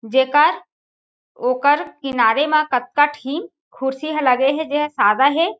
जेकर ओकर किनारे मा कतका ठी कुर्सी हा लगे हे जेहा सादा हे।